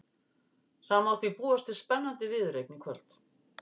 Það má því búast við spennandi viðureign í kvöld.